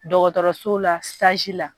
Dɔgɔtɔrɔso la la.